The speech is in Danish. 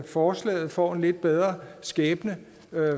forslaget får en lidt bedre skæbne